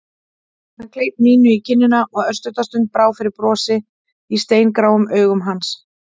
Hann kleip Nínu í kinnina og örstutta stund brá fyrir brosi í steingráum augum hans.